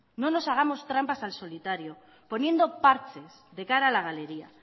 no nos hagamos trampas al solitario poniendo parches de cara a la galería